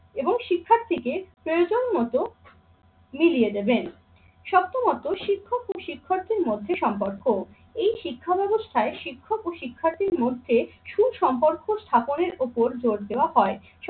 এবং শিক্ষার্থীকে প্রয়োজন মতো মিলিয় দেবেন। সপ্তমত শিক্ষক ও শিক্ষকদের মধ্যে সম্পর্ক, এই শিক্ষাব্যবস্থায় শিক্ষক ও শিক্ষার্থীর মধ্যে সুসম্পর্ক স্থাপনের ওপর জোর দেওয় হয়।